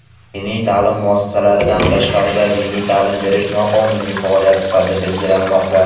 Diniy taʼlim muassasasidan tashqarida diniy taʼlim berish noqonuniy faoliyat sifatida belgilanmoqda.